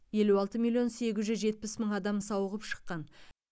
елу алты миллион сегіз жүз жетпіс мың адам сауығып шыққан